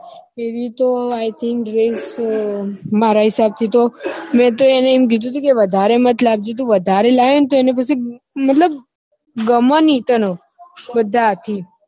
એરી તો i think dress મારા હિસાબ થી તો મેં તો એને એમ કીધું હતું કે વધારે મત લાવજે વધારે લાવશે તો મતલબ ગમે ની તને બધા સાથી